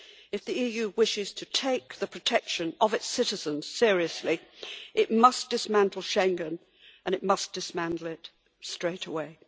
If the EU wishes to take the protection of its citizens seriously, it must dismantle Schengen, and it must dismantle it straight away.